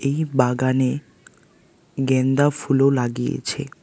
এই বাগানে গ্যানদা ফুলও লাগিয়েছে।